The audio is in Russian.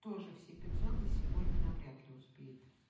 тоже все пятьсот за сегодня навряд ли успеет